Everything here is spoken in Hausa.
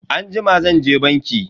Anjima zanje banki.